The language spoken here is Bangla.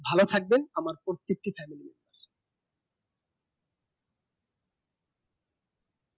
ভালো থাকবেন আমার প্রত্যেকটি channel এ